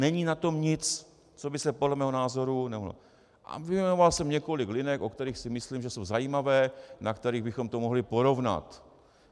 Není na tom nic, co by se podle mého názoru nemohlo - a vyjmenoval jsem několik linek, o kterých si myslím, že jsou zajímavé, na kterých bychom to mohli porovnat.